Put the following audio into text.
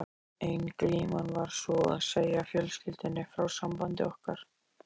Ein glíman var sú að segja fjölskyldunni frá sambandi okkar.